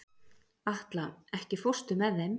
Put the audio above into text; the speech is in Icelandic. Atla, ekki fórstu með þeim?